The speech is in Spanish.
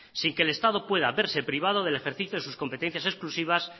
sin que el estado pueda verse privado del ejercicio de sus competencias exclusivas